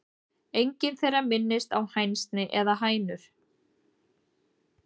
Engin þeirra minnist á hænsni eða hænur.